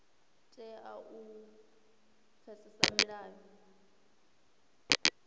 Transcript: vha tea u pfesesa milayo